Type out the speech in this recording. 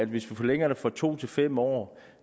hvis vi forlænger det fra to til fem år